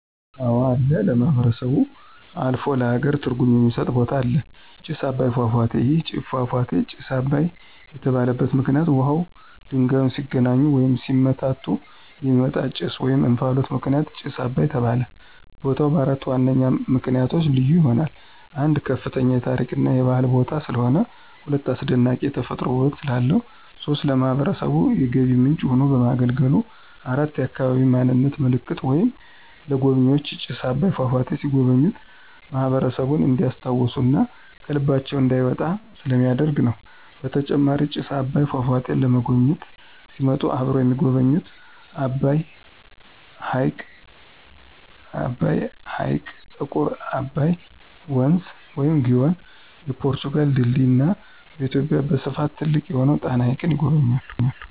አወ አለ ለማህበረሰቡ አልፎ ለሃገር ትርጉም የሚስጥ ቦታ አለ። ጭስ አባይ ፏፏቴ። ይህ ፏፏቴ ጭስ አባይ የተባለበት ምክንይት ውሃውና ድንጋዩ ሲገናኙ ወይም ሲመታቱ የሚወጣው ጭስ /እንፍሎት ምክንያት ጭስ አባይ ተባለ። ቦታው በአራት ዋነኛ ምክንያቶች ልዩ ይሆናል። 1, ከፍተኛ የታሪክ እና የባህል ቦታ ስለሆነ። 2, አስደናቂ የተፈጥሮ ውበት ስላለው። 3, ለማህበረሰቡ የገቢ ምንጭ ሆኖ በማገልገሉ። 4, የአካባቢ ማንነት ምልክት ወይም ለጎብኝዎች ጭስ አባይ ፏፏቴ ሲጎበኙ ማህበረሰቡን እንዲስታውሱ እና ከልባቸው እንዳይወጣ ስለሚደረግ ነው። በተጨማሪም ጭስ አባይን ፏፏቴን ለመጎብኝት ሲመጡ አብረው የሚጎበኙት አባይ ሕይቅ፣ ጥቁር አባይ ወንዝ(ግዮን) ፣የፖርቱጋል ድልድይ እና በኢትዮጵያ በስፍት ትልቅ የሆነውን ጣና ሀይቅን ይጎበኛሉ።